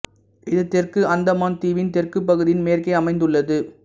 இது தெற்கு அந்தமான் தீவின் தெற்குப் பகுதியின் மேற்கே அமைந்துள்ளது